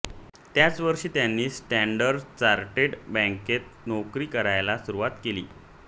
त्याच वर्षी त्यांनी स्टॅंडर्ड चार्टर्ड बँकेत नोकरी करायला सुरुवात केली